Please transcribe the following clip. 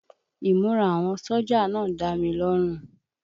Ìmúra àwọn sójà náà ń dá mi lọ́run